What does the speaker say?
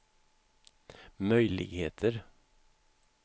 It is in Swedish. möjligheter